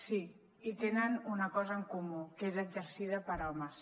sí i tenen una cosa en comú que és exercida per homes